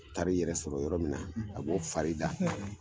taar'i yɛrɛ sɔrɔ yɔrɔ min na , a b'o fari da!